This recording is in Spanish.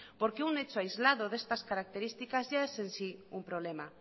porque un hecho aislado de estas características ya es en sí un problema